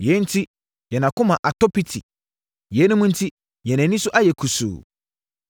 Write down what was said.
Yei enti yɛn akoma atɔ piti, yeinom enti yɛn ani so ayɛ kusuu